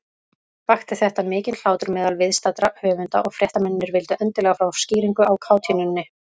Vakti þetta mikinn hlátur meðal viðstaddra höfunda, og fréttamennirnir vildu endilega fá skýringu á kátínunni.